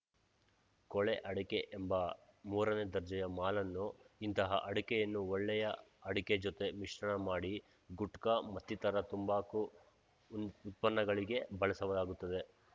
ಕೊಳೆ ಅಡಕೆ ಎಂಬ ಮೂರನೇ ದರ್ಜೆಯ ಮಾಲನ್ನು ಇಂತಹ ಅಡಕೆಯನ್ನು ಒಳ್ಳೆಯ ಅಡಕೆ ಜೊತೆ ಮಿಶ್ರಣ ಮಾಡಿ ಗುಟ್ಕಾ ಮತ್ತಿತರ ತಂಬಾಕು ಉತ್ಪನ್ನಗಳಿಗೆ ಬಳಸಲಾಗುತ್ತದೆ